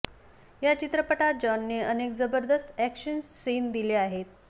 या चित्रपटात जॉनने अनेक जबरदस्त ऍक्शन सीन दिले आहेत